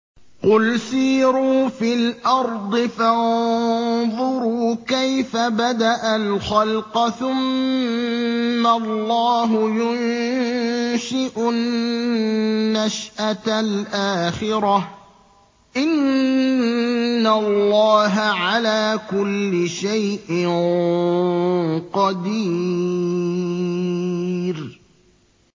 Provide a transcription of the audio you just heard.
قُلْ سِيرُوا فِي الْأَرْضِ فَانظُرُوا كَيْفَ بَدَأَ الْخَلْقَ ۚ ثُمَّ اللَّهُ يُنشِئُ النَّشْأَةَ الْآخِرَةَ ۚ إِنَّ اللَّهَ عَلَىٰ كُلِّ شَيْءٍ قَدِيرٌ